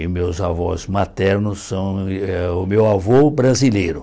E meus avós maternos são eh... O meu avô, brasileiro.